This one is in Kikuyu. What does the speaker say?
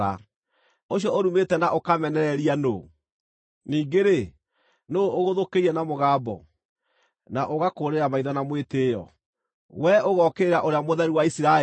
Ũcio ũrumĩte na ũkamenereria nũũ? Ningĩ-rĩ, nũũ ũgũthũkĩire na mũgambo, na ũgakũũrĩra maitho na mwĩtĩĩo? Wee ũgookĩrĩra Ũrĩa Mũtheru wa Isiraeli!